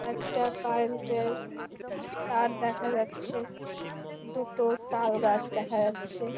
একটা কারেন্ট -এর তার দেখা যাচ্ছে দুটো তাল গাছ দেখা যাচ্ছে।